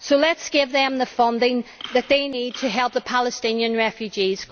So let us give them the funding that they need to help the Palestinian refugees.